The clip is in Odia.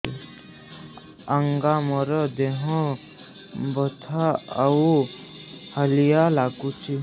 ଆଜ୍ଞା ମୋର ଦେହ ବଥା ଆଉ ହାଲିଆ ଲାଗୁଚି